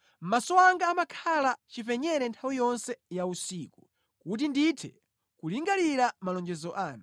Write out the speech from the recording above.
Maso anga amakhala chipenyere nthawi yonse ya usiku, kuti ndithe kulingalira malonjezo anu.